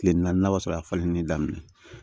Tile naani a b'a sɔrɔ a falennen daminɛ